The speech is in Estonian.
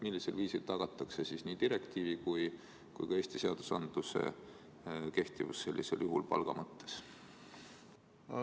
Millisel viisil tagatakse nii direktiivi kui ka Eesti seaduste kehtivus sellisel juhul palga mõttes?